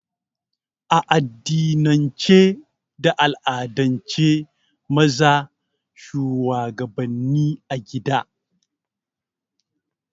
A addinin ce da al'adan ce maza shuwagabanni a gida